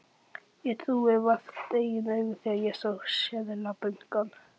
Ég trúði vart eigin augum þegar ég sá seðlabunkann.